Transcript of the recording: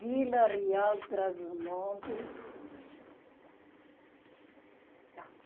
Vila Real Trás Montes.